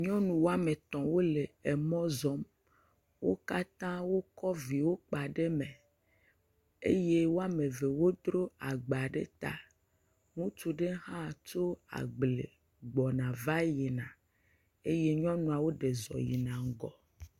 Nyɔnu woame etɔ̃ wole mɔ zɔm. Wo katã wokɔ viwo kpa ɖe me eye woame eve dzro agba ɖe ta. Ŋutsu ɖe hã tso agble gbɔna va yina eye nyɔnuawo ɖe zɔ yina ŋgɔ.